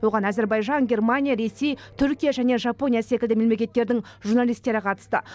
оған әзербайжан германия ресей түркия және жапония секілді мемлекеттердің журналистері қатысты